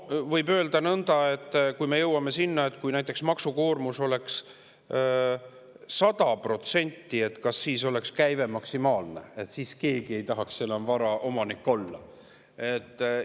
Võib nõnda: kui me jõuame näiteks sinna, et maksukoormus on 100%, kas siis on käive maksimaalne, sest siis ei taha keegi enam vara omanik olla?